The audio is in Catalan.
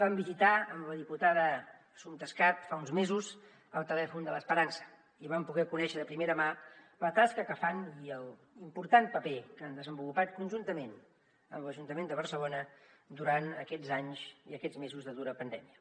vam visitar amb la diputada assumpta escarp fa uns mesos el telèfon de l’esperança i vam poder conèixer de primera mà la tasca que fan i l’important paper que han desenvolupat conjuntament amb l’ajuntament de barcelona durant aquests anys i aquests mesos de dura pandèmia